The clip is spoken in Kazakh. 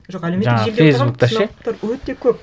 жоқ әлеуметтік желіде отырған өте көп